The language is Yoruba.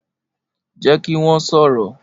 Jẹ ki wọn sọrọ!